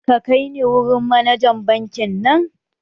Ka kai ni wurin manajan bankin nan!